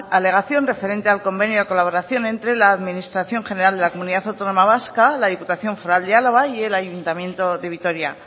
alegación referente al convenio de colaboración entre la administración general de la comunidad autónoma vasca la diputación foral de álava y el ayuntamiento de vitoria